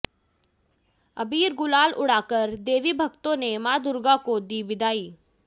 अबीर गुलाल उड़ाकर देवी भक्तों ने मां दुर्गा को दी विदाई